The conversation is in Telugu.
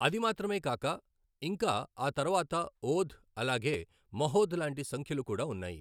అది మాత్రమే కాక ఇంకా ఆ తర్వాత ఓధ్ అలాగే మహోధ్ లాంటి సంఖ్యలు కూడా ఉన్నాయి.